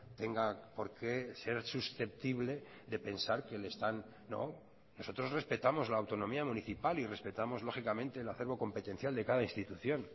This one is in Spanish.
tenga por qué ser susceptible de pensar que le están no nosotros respetamos la autonomía municipal y respetamos lógicamente el acervo competencial de cada institución